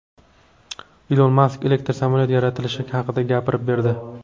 Ilon Mask elektr samolyot yaratilishi haqida gapirib berdi.